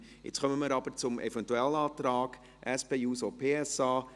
Jetzt kommen wir aber zum Eventualantrag der SP-JUSO-PSA.